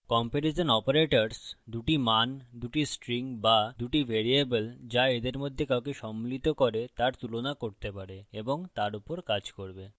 comparison operators দুটি মান দুটি strings বা দুটি ভ্যারিয়েবল যা এদের মধ্যে কাউকে সম্মিলিত করে তার তুলনা করতে পারে এবং তার উপর কাজ করবে